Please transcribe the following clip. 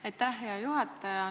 Aitäh, hea juhataja!